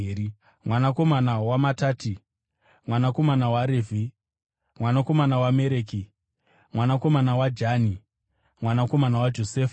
mwanakomana waMatati, mwanakomana waRevhi, mwanakomana waMereki, mwanakomana waJani, mwanakomana waJosefa,